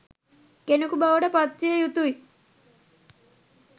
කෙනෙකු බවට පත්විය යුතුයි.